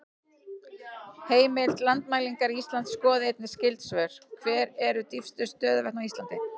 Heimild: Landmælingar Íslands Skoðið einnig skyld svör: Hver eru dýpstu stöðuvötn á Íslandi?